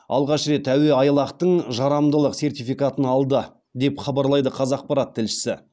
алғаш рет әуеайлақтың жарамдылық сертификатын алды деп хабарлайды қазақпарат тілшісі